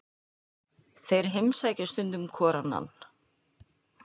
Þeir heimsækja stundum hvor annan.